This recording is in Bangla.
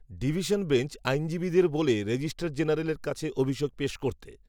ডিভিশন বেঞ্চ, আইনজীবীদের বলে, রেজিস্ট্রার জেনারেলের কাছে অভিযোগ, পেশ করতে